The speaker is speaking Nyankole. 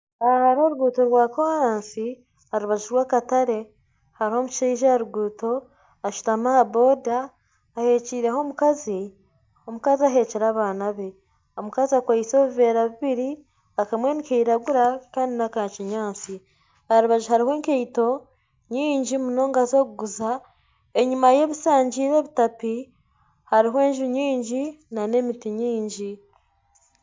Aha hariho oruguuto rwa koraasi aha rubaju rwakatare hariho omushaija aha ruguuto ashutami aha boda ahekiireho omukazi aheekire abaana be omukazi akwaitse obuveera bubiri akamwe nikiragura kandi naka kinyaatsi aha rubaju hariho enkaito nyingi munonga ez'okuguza enyima ye hariho enju ebishangire ebitapi hariho enju nyingi nana emiti mingi